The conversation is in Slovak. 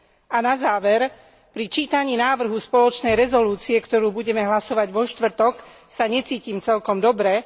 A na záver, pri čítaní návrhu spoločnej rezolúcie, o ktorej budeme hlasovať vo štvrtok, sa necítim celkom dobre.